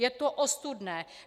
Je to ostudné!